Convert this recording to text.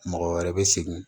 Mɔgɔ wɛrɛ bɛ segin